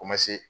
O ma se